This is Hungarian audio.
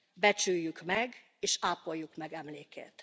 Becsüljük meg, és ápoljuk emlékét!